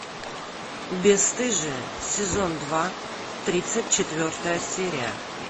бесстыжие сезон два тридцать четвертая серия